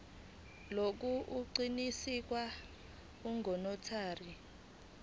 lokhu kuqinisekiswe ngunotary